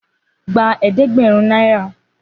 Gba eedegberun naira.